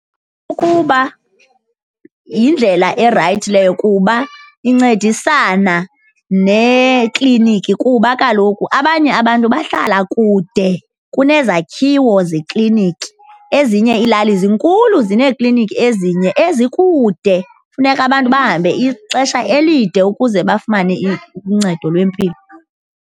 Ukuba yindlela erayithi leyo kuba incedisana neekliniki kuba kaloku abanye abantu bahlala kude kunezakhiwo zekliniki, ezinye iilali zinkulu, zineekliniki ezinye ezikude. Funeka abantu bahambe ixesha elide ukuze bafumane uncedo lwempilo.